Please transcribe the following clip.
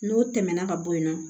N'o tɛmɛna ka bɔ yen nɔ